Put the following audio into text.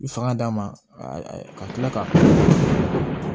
I fanga d'a ma a ka kila ka